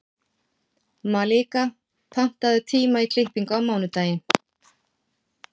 Malika, pantaðu tíma í klippingu á mánudaginn.